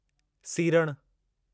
सिरिणि